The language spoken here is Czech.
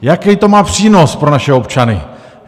Jaký to má přínos pro naše občany?